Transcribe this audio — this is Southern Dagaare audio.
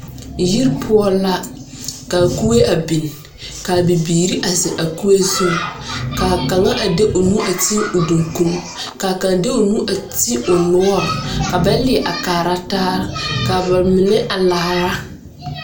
Yir poʊ la ka kue a bing. Ka bibiire a zeŋ a kue zu. Ka a kanga a de o nu a te o dunkun. Ka a kang de o nu te o nuore. Ka bɛ liɛ a kaara taa. Kaa ba mene a laara